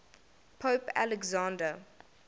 pope alexander